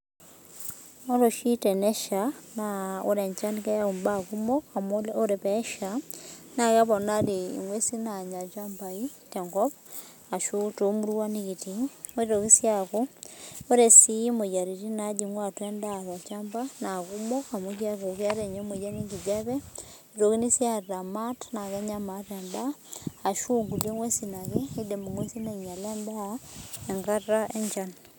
Ore oshi teneshaa ore enchan naa keyau mbaa kumok amu ore pee esha neponari enguesi nanyaa ilchambai tenkop ashu too muruan nikitii nitoki sii aku ore moyiaritin najingu atua enda tolchamba na kumok amu keetae ninye emoyian enkijiape neitokini sii ataa maat naa Kenya maat endaa ashu nkulie ng'uesi ake kidim ng'uesi ainyiala endaa enkata enchan